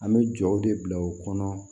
An bɛ jɔw de bila u kɔnɔ